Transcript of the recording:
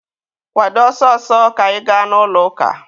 Kwado ọsọ ọsọ, ka anyị gaa n'ụlọ ụka!